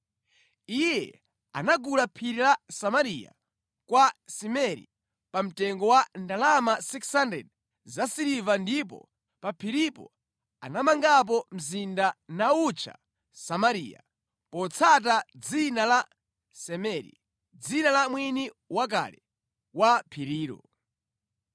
Iye anagula phiri la Samariya kwa Semeri pa mtengo wa ndalama 6,000 za siliva ndipo pa phiripo anamangapo mzinda, nawutcha Samariya, potsata dzina la Semeri, dzina la mwini wakale wa phirilo.